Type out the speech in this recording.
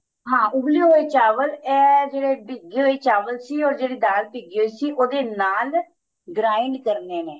ਹਾਂ ਉਬਲੇ ਹੋਏ ਚਾਵਲ ਇਹ ਜਿਹੜੇ ਭਿਜੇ ਹੋਏ ਚਾਵਲ or ਜਿਹੜੀ ਦਾਲ ਭਿਜੀ ਹੋਈ ਸੀ ਉਹਦੇ ਨਾਲ grind ਕਰਨੇ ਨੇ